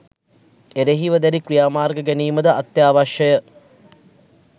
එරෙහිව දැඩි ක්‍රියාමාර්ග ගැනීමද අත්‍යවශ්‍යය